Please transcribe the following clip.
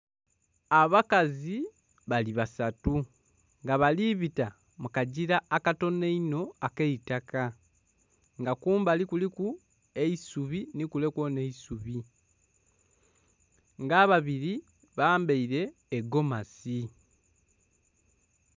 Abakazi bali basatu nga bali bita mu kagira akatono einho akeitaka nga kumbali kuliku eisubi nhi kule kwona eisubi nga ababiri bambaire egomasi.